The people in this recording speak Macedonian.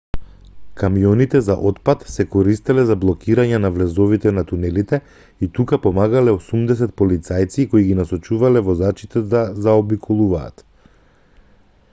камионите за отпад се користеле за блокирање на влезовите на тунелите и тука помагале 80 полицајци кои ги насочувале возачите да заобиколуваат